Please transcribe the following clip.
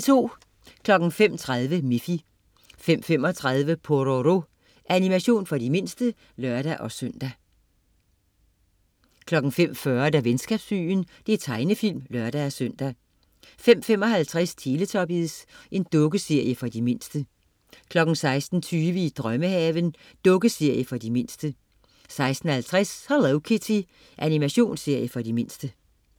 05.30 Miffy 05.35 Pororo. Animation for de mindste (lør-søn) 05.40 Venskabsbyen. Tegnefilm (lør-søn) 05.55 Teletubbies. Dukkeserie for de mindste 06.20 I drømmehaven. Dukkeserie for de mindste 06.50 Hello Kitty. Animationsserie for de mindste